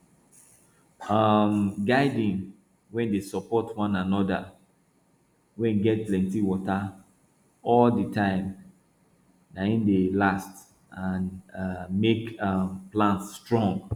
um gardens wey dey support one anoda well wey get plenti water all di time na im dey dey last and make um plants strong